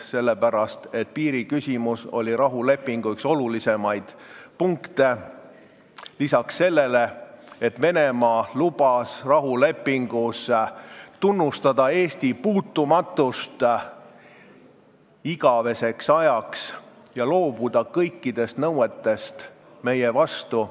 Sellepärast, et piiriküsimus oli rahulepingu üks olulisemaid punkte, lisaks sellele, et Venemaa lubas rahulepingus tunnustada igaveseks ajaks Eesti puutumatust ja loobuda kõikidest nõuetest meie vastu.